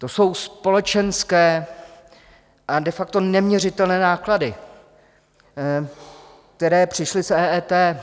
To jsou společenské a de facto neměřitelné náklady, které přišly s EET.